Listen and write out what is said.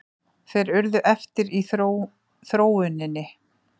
Þeir urðu eftir í þróuninni.